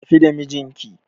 Tafi da mijinki